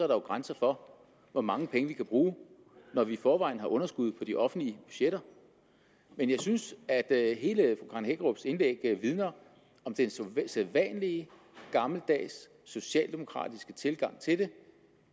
grænser for hvor mange penge vi kan bruge når vi i forvejen har underskud på de offentlige budgetter men jeg synes at hele fru karen hækkerups indlæg vidner om den sædvanlige gammeldags socialdemokratiske tilgang til det